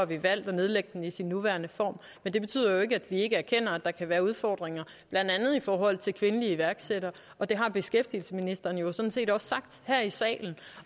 vi valgt at nedlægge den i sin nuværende form men det betyder jo ikke at vi ikke erkender at der kan være udfordringer blandt andet i forhold til kvindelige iværksættere det har beskæftigelsesministeren jo sådan set også sagt her i salen